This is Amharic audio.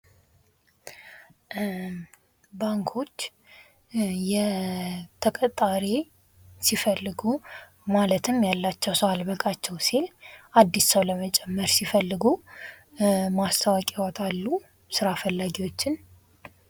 ባንኮች የተቀጣሪ ሲፈልጉ ማለትም ያላቸው ሰው አለሰበቃቸው ሲል አዲስ ሰው ለመጨመር ሲፈልጉ ማስታወቂያ ያወጣሉ ስራ ፈላጊዎችን።